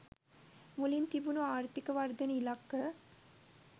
මුලින් තිබුණ ආර්ථික වර්ධන ඉලක්ක